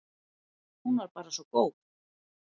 Hún var bara svo góð.